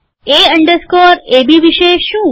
એ underscore AB વિષે શું